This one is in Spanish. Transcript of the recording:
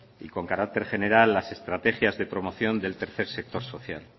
y con carácter general las estrategias de promoción del tercer sector social